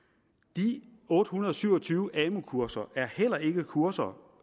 de otte hundrede og syv og tyve amu kurser er heller ikke kurser